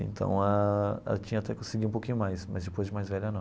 Então ah, ela tinha até que seguir um pouquinho mais, mas depois de mais velha, não.